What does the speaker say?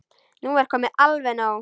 Nú er komið alveg nóg!